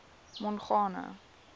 mongane